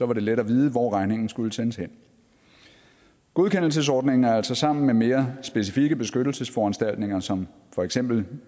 var det let at vide hvor regningen skulle sendes hen godkendelsesordningen er altså sammen med mere specifikke beskyttelsesforanstaltninger som for eksempel